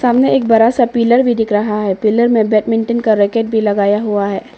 सामने एक बड़ा सा पिलर भी दिख रहा है पिलर में बैडमिंटन का रैकेट भी लगाया हुआ है।